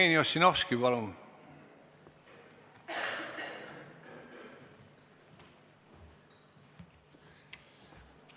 Jevgeni Ossinovski, palun!